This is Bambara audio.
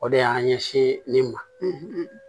O de y'an ɲɛsin ne ma